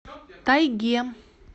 тайге